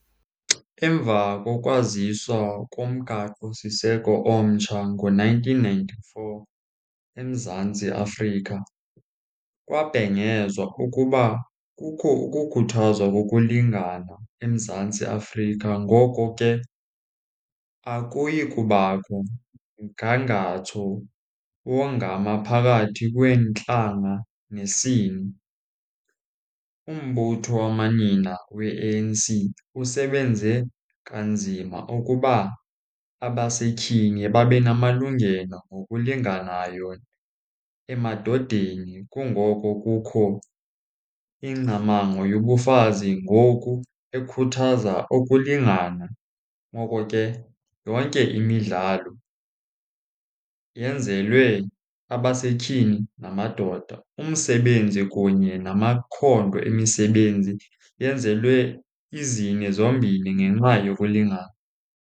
Emva kokwaziswa komgaqosiseko omtsha ngo-nineteen ninety-four eMzantsi Afrika kwabhengezwa ukuba kukho ukukhuthazwa lokulingana eMzantsi Afrika. Ngoko ke akuyi kubakho mgangatho wongama phakathi kweentlanga nesini. Umbutho wamanina we-A_N_C usebenze kanzima ukuba abasetyhini babe namalungelo ngokulinganayo emadodeni. Kungoko kukho ingcamango yobufazi ngoku ekhuthaza ukulingana. Ngoko ke yonke imidlalo yenzelwe abasetyhini namadoda. Umsebenzi kunye namakhondo emisebenzi yenzelwe izini zombini ngenxa yokulingana.